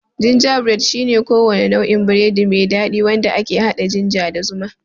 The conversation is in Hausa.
Gingerbread shine kowane nau'in biredi mai dadi wanda ke hada ginger da zuma.